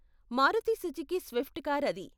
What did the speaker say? Maruti Suzuki Swift car అది.